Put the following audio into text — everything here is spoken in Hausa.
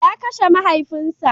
ya Kashe mahaifin sa.